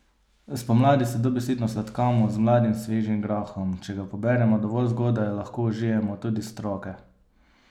Spomladi se dobesedno sladkamo z mladim svežim grahom, če ga poberemo dovolj zgodaj, lahko užijemo tudi stroke.